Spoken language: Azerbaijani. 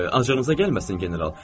Acığınıza gəlməsin, General.